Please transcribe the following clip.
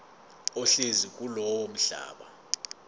ohlezi kulowo mhlaba